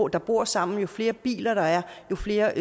der bor sammen jo flere biler der er jo flere